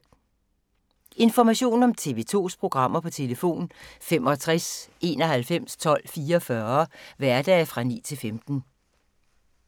Information om TV 2's programmer: 65 91 12 44, hverdage 9-15.